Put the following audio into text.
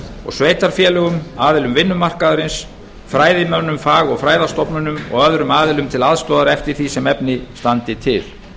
og sveitarfélögum aðilum vinnumarkaðarins fræðimönnum fag og fræðastofnunum og öðrum aðilum til aðstoðar eftir því sem efni standa til